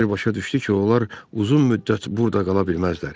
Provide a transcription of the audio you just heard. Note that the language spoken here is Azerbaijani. Kiper başa düşdü ki, onlar uzun müddət burda qala bilməzlər.